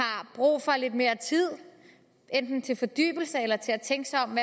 brug for lidt mere tid enten til fordybelse eller til at tænke sig om